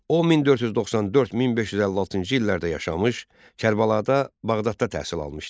O 1494-1556-cı illərdə yaşamış, Kərbəlada, Bağdadda təhsil almışdı.